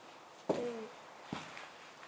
तेच